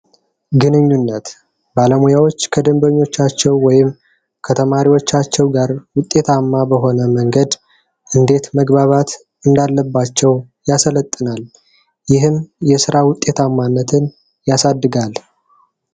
ግንኙነት ባለሙያዎች ከደንበኞቻቸው ወይም ከተማሪዎቻቸው ጋር ውጤታማ በሆነ መንገድ እንዴት መግባባት እንዳለባቸው ያሰለጥናል። ይህም የስራ ውጤታማነትን ያሳድጋል።